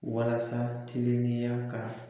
Walasa tilennenya ka